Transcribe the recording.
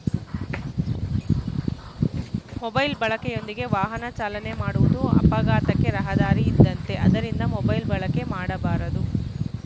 mobile ಬಳಕೆಯೊಂದಿಗೆ ವಾಹನ ಚಾಲನೆ ಮಾಡುವುದು ಅಪಘಾತಕ್ಕೆ ರಹದಾರಿ ಇದ್ದಂತೆ ಆದ್ದರಿಂದ ಮೊಬೈಲ್‌ ಬಳಕೆ ಮಾಡಬಾರದು